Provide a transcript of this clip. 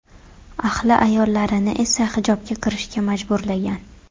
Ahli ayollarini esa hijobga kirishga majburlagan.